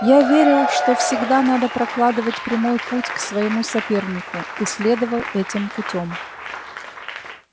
я верил что всегда надо прокладывать прямой путь к своему сопернику и следовал этим путём